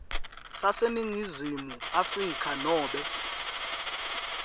saseningizimu afrika nobe